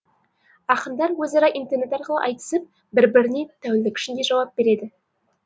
ақындар өзара интернет арқылы айтысып бір біріне тәулік ішінде жауап береді